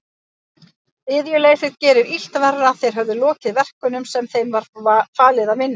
Iðjuleysið gerði illt verra, þeir höfðu lokið verkunum sem þeim var falið að vinna.